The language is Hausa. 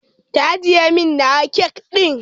Ki ajjiye min nawa kek ɗin